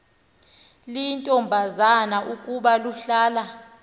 liyintombazana ukuba luhlaza